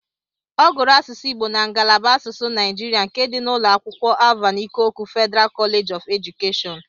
Ọ gụrụ asụsụ Igbo na ngalaba asụsụ Naijiria nke dị na ụlọ akwụkwọ Alvan Ikoku Federal College of Education.